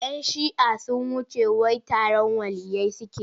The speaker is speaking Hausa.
Yan shi'ah sun wuce wai taron waliyyai suke yi.